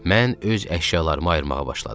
Mən öz əşyalarımı ayırmağa başladım.